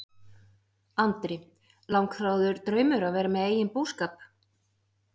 Andri: Langþráður draumur að vera með eigin búskap?